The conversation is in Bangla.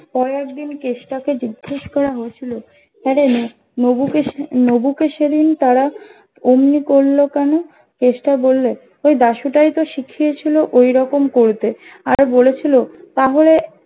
পরের দিন কেষ্টা কে জিজ্ঞেস করা হয়েছিল হা রে নবুকে নবুকে সেদিন তারা অমনি করলো কেনো কেষ্টা বললে ওই দাশু তাই তো শিখিয়েছিলো ওই রকম করতে আর বলে ছিলো তাহলে